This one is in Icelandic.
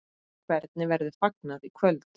Hvernig verður fagnað í kvöld?